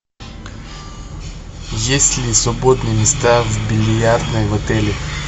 есть ли свободные места в бильярдной в отеле